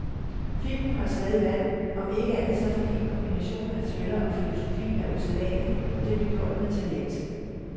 Filmen holdt stadig vand, om ikke andet så fordi kombinationen af thriller og filosofi er usædvanlig og det blev gjort med talent.